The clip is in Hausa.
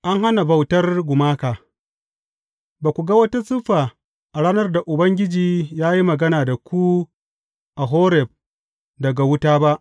An hana bautar gumaka Ba ku ga wata siffa a ranar da Ubangiji ya yi magana da ku a Horeb daga wuta ba.